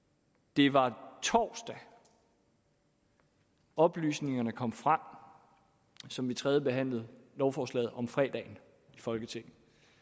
det var torsdag oplysningerne kom frem som vi tredjebehandlede lovforslaget om fredagen i folketinget